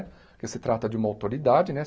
Porque se trata de uma autoridade, né?